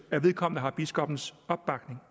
at vedkommende har biskoppens opbakning